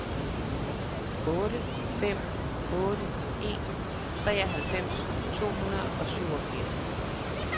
otte fem otte en treoghalvfems to hundrede og syvogfirs